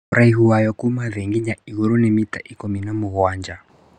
Ũraihu wayo Kuma thĩ nginya igũrũ nĩ mita ikũmi na mũgwanja